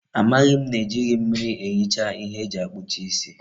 Amaghi m na ejighi mmiri ehicha ihe eji akpucha isi